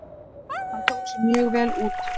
Hann tók sig mjög vel út.